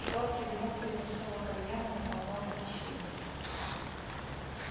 сладкий дымок переносного кальяна наполнял помещение